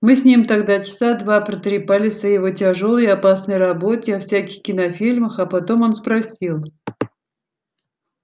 мы с ним тогда часа два протрепались о его тяжёлой и опасной работе о всяких кинофильмах а потом он спросил